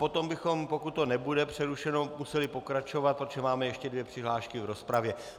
Potom bychom, pokud to nebude přerušeno, museli pokračovat, protože máme ještě dvě přihlášky do rozpravy.